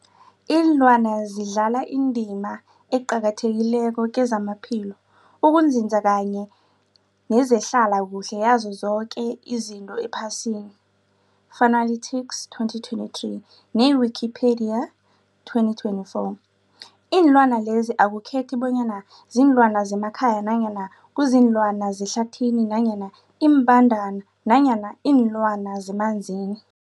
Ilwana zidlala indima eqakathekileko kezamaphilo, ukunzinza kanye nezehlala kuhle yazo zoke izinto ephasini, Fuanalytics 2023, ne-Wikipedia 2024. Iinlwana lezi akukhethi bonyana ziinlwana zemakhaya nanyana kuziinlwana zehlathini nanyana iimbandana nanyana iinlwana zemanzini.